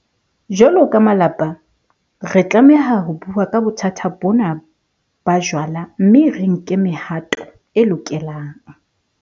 Jwalo ka malapa, re tlameha ho bua ka bothata bona ba jwala mme re nke le mehato e lokelang.